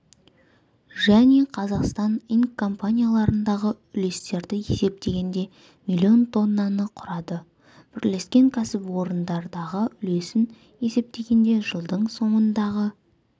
және қазақстан инк компанияларындағы үлестерді есептегенде миллион тоннаны құрады бірлескен кәсіпорындардағы үлесін есептегенде жылдың соңындағы